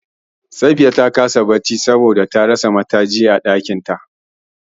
Safiya ta kasa bacci saboda ta rasa matajin a ɗakin ta.